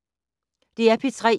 DR P3